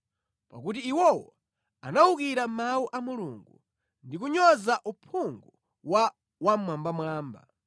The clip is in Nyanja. pakuti iwowo anawukira mawu a Mulungu ndi kunyoza uphungu wa Wammwambamwamba.